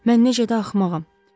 Mən necə də axmağam.